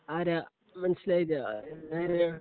ആരാ മനസിലായില്ല ആരാ